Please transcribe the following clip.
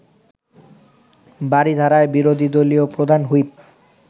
বারিধারায় বিরোধী দলীয় প্রধান হুইপ